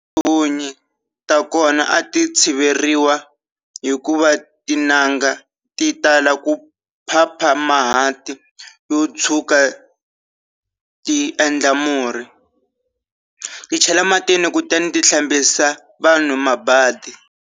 Tihunyi ta kona a ti tshiveriwi hikuva tin'anga ti tala ku phapha mahanti yo tshwuka ti endla murhi, ti chela ematini kutani ti hlambisa vanhu mabadi.